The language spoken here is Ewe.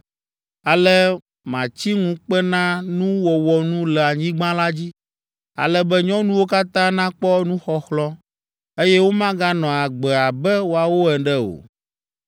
“Ale matsi ŋukpenanuwɔwɔ nu le anyigba la dzi, ale be nyɔnuwo katã nakpɔ nuxɔxlɔ̃, eye womaganɔ agbe abe woawo ene o.